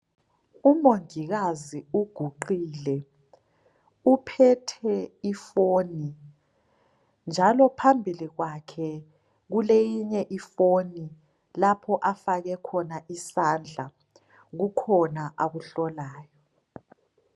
Umongikazi uguqile uphethe ifoni njalo phambi kwakhe kuleyinye ifoni lapho afake khona isandla kukhona akuhlolayo.